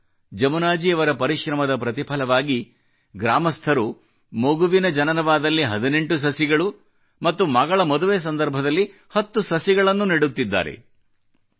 ಈಗ ಜಮುನಾಜಿ ಅವರ ಪರಿಶ್ರಮದ ಪ್ರತಿಫಲವಾಗಿ ಗ್ರಾಮಸ್ಥರು ಮಗುವಿನ ಜನನವಾದಲ್ಲಿ 18 ಸಸಿಗಳು ಮತ್ತು ಮಗಳ ಮದುವೆ ಸಂದರ್ಭದಲ್ಲಿ 10 ಸಸಿಗಳನ್ನು ನೆಡುತ್ತಿದ್ದಾರೆ